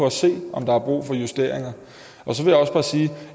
at se på om der er brug for justeringer så vil